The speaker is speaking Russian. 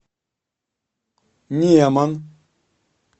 неман